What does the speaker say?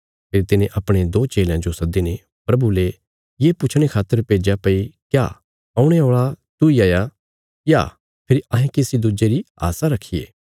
फेरी तिने अपणे दो चेलयां जो सद्दीने प्रभु ले ये पुछणे खातर भेज्या भई क्या औणे औल़ा तूई हाया या फेरी अहें किसी दुज्जे री आशा रखिये